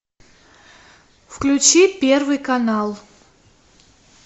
включи первый канал